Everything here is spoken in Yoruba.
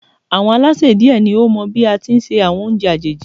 Àwọn Alásè die ni ó mọ bí á tí ń se àwọn oúnjẹ àjèjì